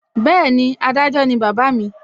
Bẹ́ẹ̀ni, adájọ́ ni bàbá mi